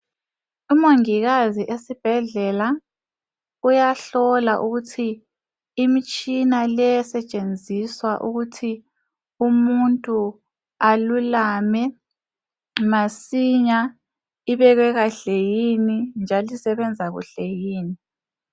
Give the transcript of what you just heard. Umongikazi esibhedlela uyahlola ukuthi imitshina le esetshenziswa ukuthi umuntu alulame masinya ibekwe kahle yini njalo isebenza kuhle yini.